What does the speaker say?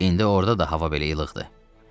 İndi orada da hava belə gözəldir.